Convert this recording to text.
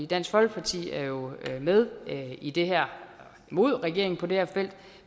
dansk folkeparti er jo med i det her imod regeringen på det her felt